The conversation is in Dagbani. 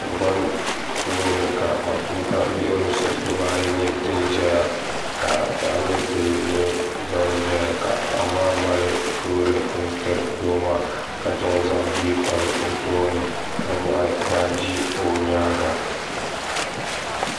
Tingban puuni ka matuuka yiɣrisi diba ayi nye din ʒɛya ka paɣa ni doo nye ban zeya ka paɣa maa mali loori n tiri doo maa ka chan zaŋ bia n kpabi o tooni ka nyaɣi baaji o nyaan ŋa.